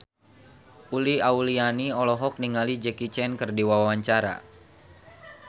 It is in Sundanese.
Uli Auliani olohok ningali Jackie Chan keur diwawancara